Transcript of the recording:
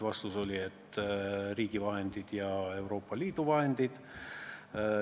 Vastus oli, et on riigi vahendid ja Euroopa Liidu vahendid.